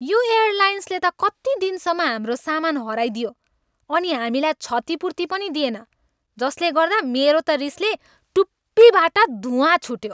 यो एयरलाइन्सले त कति दिनसम्म हाम्रो सामान हराइदियो अनि हामीलाई क्षतिपूर्ति पनि दिएन जसले गर्दा मेरो त रिसले टुप्पीबाट धुँवा छुट्यो।